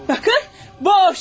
Baxın, boş.